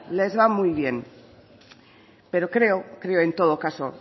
les va muy bien pero creo creo en todo caso